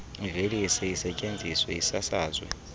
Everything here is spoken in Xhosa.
iveliswe isetyenziswe isasazwe